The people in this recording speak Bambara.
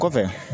Kɔfɛ